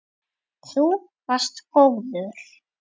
Þú varst góður.